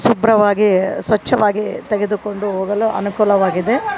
ಶುಭ್ರವಾಗಿ ಸ್ವಚ್ಛವಾಗಿ ತೆಗೆದುಕೊಂಡು ಹೋಗಲು ಅನುಕೂಲವಾಗಿದೆ.